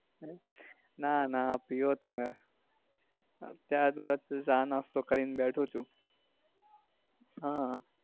હે ના ના પીવો તમે અત્ત્યારે તો ચા નાસ્તો કરી ને બેઠો છું હમ